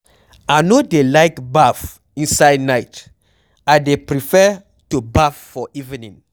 I no dey like baff inside night, I dey prefare to baff for evening.